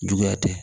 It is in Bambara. Juguya tɛ